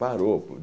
Parou.